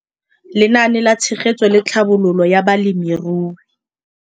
Lenaane la Tshegetso le Tlhabololo ya Balemirui.